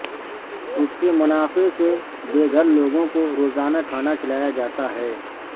اس کے منافعے سے بے گھر لوگوں کو روزانہ کھانا کھلایا جاتا ہے